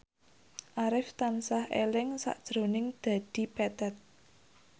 Arif tansah eling sakjroning Dedi Petet